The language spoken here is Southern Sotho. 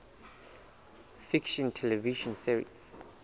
fiction television series